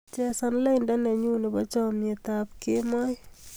Chesan lainda nenyu nebo chamnyetab kemboi